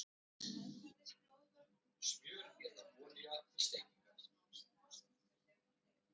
Þeir höfðu meðferðis glóðvolg bráðabirgðalög um efnahagsmál sem forseti þurfti að undirrita.